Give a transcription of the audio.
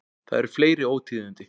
Það eru fleiri ótíðindi.